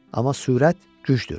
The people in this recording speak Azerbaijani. Amma sürət gücdür.